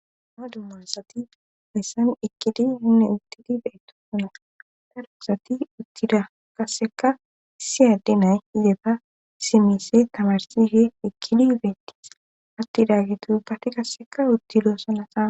ha dummasati hoyssan ekkidi hinne uttidi be7eto sona darusati uttida kasseka siyadde nay ize ba simise tabarsihe ekkidi udeetis attidaggi tuubbati kasseka uttiloosalasa